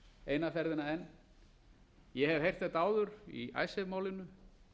eina ferðina enn ég hef heyrt þetta áður í icesave málinu